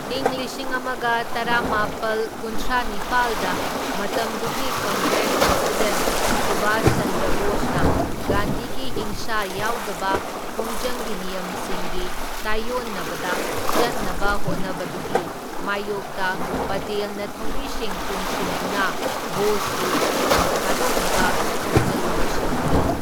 ꯏꯪ ꯂꯤꯁꯤꯡ ꯑꯃꯒ ꯇꯔꯥꯃꯥꯄꯜ ꯀꯨꯟꯊ꯭ꯔꯥꯅꯤꯄꯥꯜꯗ ꯃꯇꯝꯗꯨꯒꯤ ꯀꯪꯒ꯭ꯔꯦꯁ ꯄ꯭ꯔꯁꯤꯗꯦꯟꯠ ꯁꯨꯚꯥꯁ ꯆꯟꯗ꯭ꯔ ꯕꯣꯁꯅ ꯒꯥꯟꯙꯤꯒꯤ ꯍꯤꯡꯁꯥ ꯌꯥꯎꯗꯕ ꯈꯣꯡꯖꯪꯒꯤ ꯅꯤꯌꯝꯁꯤꯡꯒꯤ ꯇꯥꯢꯑꯣꯟꯅꯕꯗ ꯆꯠꯅꯕ ꯍꯣꯠꯅꯕꯗꯨꯒꯤ ꯃꯥꯢꯌꯣꯛꯇ ꯄꯇꯦꯜꯅ ꯊꯧꯃꯤꯁꯤꯡ ꯄꯨꯟꯁꯤꯟꯗꯨꯅ ꯕꯣꯁꯄꯨ ꯐꯝ ꯊꯥꯗꯣꯛꯅꯕ ꯈꯣꯡꯖꯪ ꯑꯃ ꯁꯤꯟꯈꯤ꯫